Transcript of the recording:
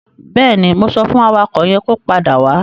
Bẹ́ẹ̀ni, mo sọ fún awakọ̀ yẹn kó padà wá.